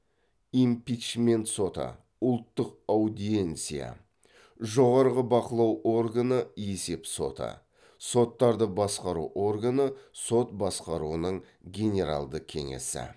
импичмент соты ұлттық аудиенсия жоғарғы бақылау органы есеп соты соттарды басқару органы сот басқаруының генералды кеңесі